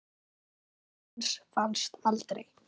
Lík hans fannst aldrei.